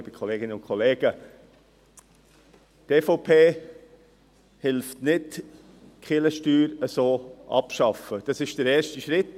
Diese Freiwilligkeit, die Grossrat Trüssel hier vorschlägt, ist der erste Schritt.